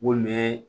Mun bɛ